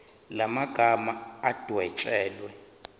la magama adwetshelwe